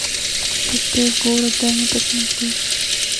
пустой город дай мне посмотреть